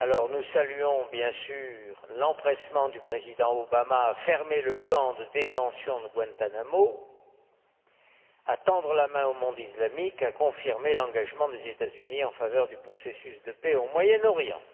Nous saluons, bien sûr, l'empressement du président Obama à fermer le camp de détention de Guantánamo, à tendre la main au monde islamique et à confirmer l'engagement des États Unis en faveur du processus de paix au Moyen Orient.